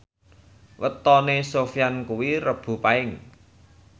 wetone Sofyan kuwi Rebo Paing